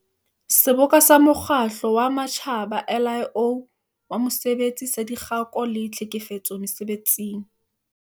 Seboka sa Mokgatlo wa Matjhaba, ILO, wa Mosebetsi saDikgako le Tlhekefetso Mese-betsing.